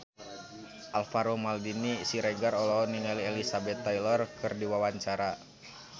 Alvaro Maldini Siregar olohok ningali Elizabeth Taylor keur diwawancara